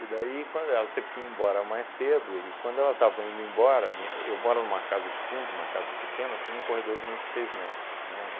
daí quando ela teve que ir embora mais cedo, e quando ela estava indo embora, minha eu moro numa casa de fundo, uma casa pequena, tem um corredor de vinte e seis metros, né,